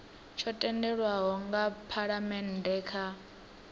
tsho tendelwaho nga phalamennde kha